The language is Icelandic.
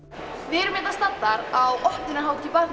erum hérna staddar á opnunarhátíð